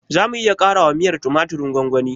Zamu iya ƙarawa miyar tumatirin gwamgwani?